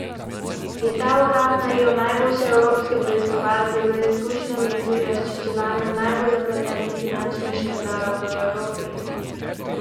Je ta urad najel najboljše evropske preiskovalce z izkušnjami pri razčiščevanju najbolj zapletenih finančnih škandalov v Evropi?